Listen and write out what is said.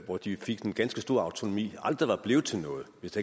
hvor de fik en ganske stor grad af autonomi aldrig var blevet til noget hvis